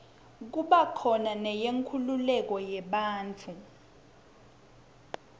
kuba khona neyenkululeko yebantfu